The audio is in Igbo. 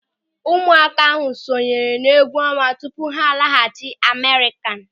Ụmụaka ahụ sonyere n'egwuọnwa tupu ha laghachi Amerịka.